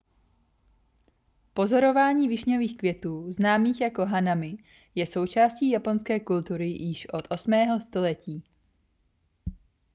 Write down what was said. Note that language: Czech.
pozorování višňových květů známých jako hanami je součástí japonské kultury již od 8. století